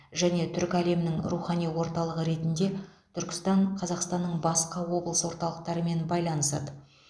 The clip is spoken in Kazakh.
және түркі әлемінің рухани орталығы ретінде түркістан қазақстанның басқа облыс орталықтармен байланысады